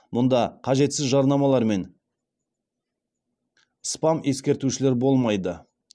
мұнда қажетсіз жарнамалар мен спам ескертушілер болмайды